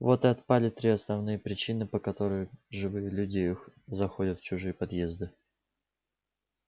вот и отпали три основные причины по которым живые люди заходят в чужие подъезды